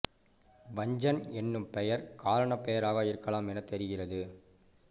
வஞ்சன் என்னும் பெயர் காரணப் பெயராக இருக்கலாம் எனத் தெரிகிறது